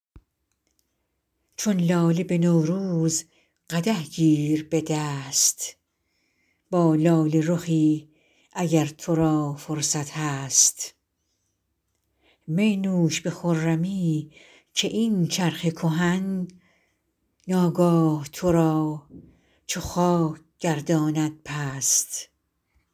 چون لاله به نوروز قدح گیر به دست با لاله رخی اگر تو را فرصت هست می نوش به خرمی که این چرخ کهن ناگاه تو را چو خاک گرداند پست